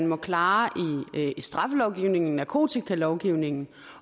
må klares i straffelovgivningen i narkotikalovgivningen